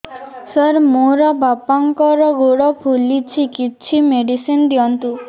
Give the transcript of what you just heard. ସାର ମୋର ବାପାଙ୍କର ଗୋଡ ଫୁଲୁଛି କିଛି ମେଡିସିନ ଦିଅନ୍ତୁ